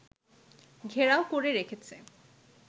ঘেরাও করে রেখেছে